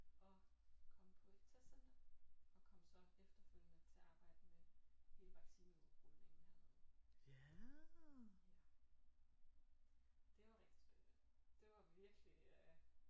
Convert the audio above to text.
Og kom på et testcenter og kom så efterfølgende til at arbejde med hele vaccineudrulningen hernede ja det var rigtig spændende det var virkelig øh